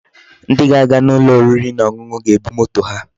Ndi ga-aga n'ulo oriri na onunu ga-ebu moto ha.